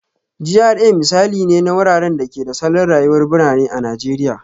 GRA misali ne na wuraren da ke da salon rayuwar birane a Najeriya